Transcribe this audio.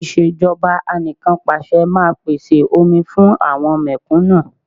Ìṣèjọba Anìkanpàṣẹ máa pèsè omi fún àwọn mẹ̀kúnnù